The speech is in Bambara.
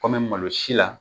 Kɔmi malo si la